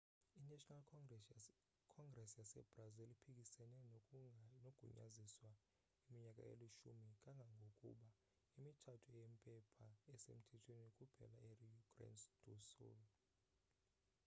i-national congres yasebrazil iphikisene nokugunyaziswa iminyaka eli-10 kangangokuba imitshato yempepha isemthethweni kuphela erio grande do sul